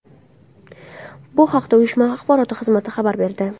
Bu haqda uyushma axborot xizmati xabar berdi .